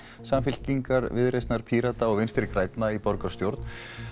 Samfylkingar Viðreisnar Pírata og Vinstri grænna í borgarstjórn